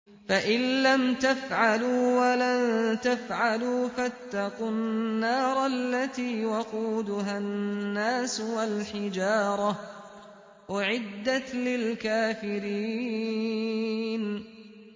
فَإِن لَّمْ تَفْعَلُوا وَلَن تَفْعَلُوا فَاتَّقُوا النَّارَ الَّتِي وَقُودُهَا النَّاسُ وَالْحِجَارَةُ ۖ أُعِدَّتْ لِلْكَافِرِينَ